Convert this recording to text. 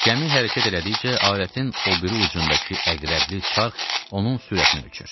Gəmi hərəkət elədikcə alətin o biri ucundakı əqrəbli çarx onun sürətini ölçür.